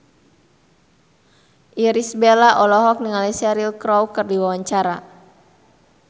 Irish Bella olohok ningali Cheryl Crow keur diwawancara